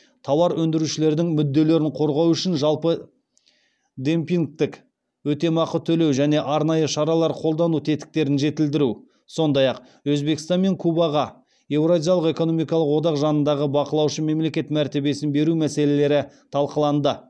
тауар өндірушілердің мүдделерін қорғау үшін жалпы демпингтік өтемақы төлеу және арнайы шаралар қолдану тетіктерін жетілдіру сондай ақ өзбекстан мен кубаға еуразиялық экономикалық одақ жанындағы бақылаушы мемлекет мәртебесін беру мәселелері талқыланды